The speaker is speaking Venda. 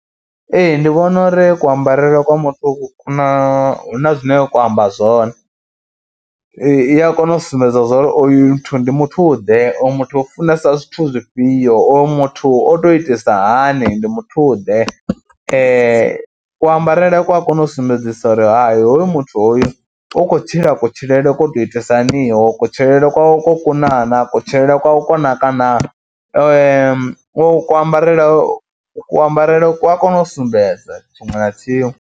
Ee ndi vhona uri kuambarele kwa muthu ku na hu na zwine kwa amba zwone, ee i ya kona u sumbedza zwa uri oyu muthu ndi muthuḓe, oyu muthu u funesa zwithu zwifhio, oyu muthu o tou itisa hani, ndi muthuḓe. Kuambarele ku a kona u sumbedzisa uri hai hoyu muthu hoyu u khou tshila kutshilele ko tou itisa haniho, kutshilele kwawe ko kuna naa, kutshilele kwawe ko naka naa, uku kuambarele kuambarele ku a kona u sumbedza tshiṅwe na tshiṅwe.